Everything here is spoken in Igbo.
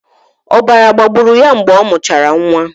Ọbara gbagburu ya mgbe ọ mụchara nwa.